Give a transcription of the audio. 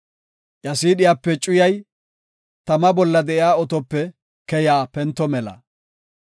Iya siidhiyape cuyay, tama bolla de7iya otope keya pento mela.